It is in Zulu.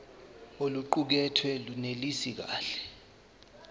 oluqukethwe lunelisi kahle